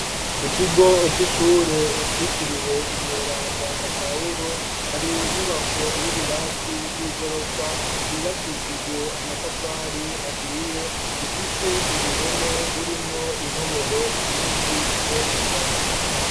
Ku kigo c’ishure citiriwe umweranda pahulo, hari inyubako y'ibirasi y'i gorofa yubakishijwe amatafari ahiye ifise uruhome rurimwo intoboro nyinshi rwose cane.